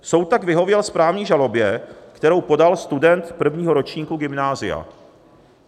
Soud tak vyhověl správní žalobě, kterou podal student prvního ročníku gymnázia.